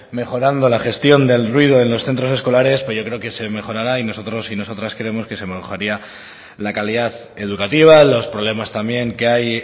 mejorando la gestión del ruido en los centros escolares pues yo creo que se mejorará y nosotros y nosotras creemos que se mejoraría la calidad educativa los problemas también que hay